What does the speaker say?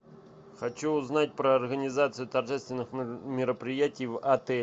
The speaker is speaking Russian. хочу узнать про организацию торжественных мероприятий в отеле